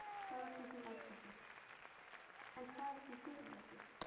Þóra Kristín Ásgeirsdóttir: En hvað er í því fyrir ykkur?